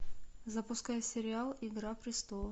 запускай сериал игра престолов